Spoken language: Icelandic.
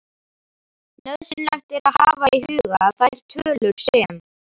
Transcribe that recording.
Nauðsynlegt er að hafa í huga að þær tölur sem